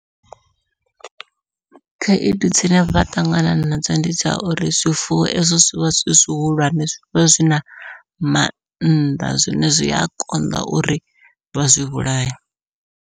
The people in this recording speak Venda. Khaedu dzine vha ṱangana nadzo ndi dza uri zwifuwo ezwo zwi vha zwi zwihulwane zwi vha zwina mannḓa zwine zwia konḓa uri vha zwi vhulaye.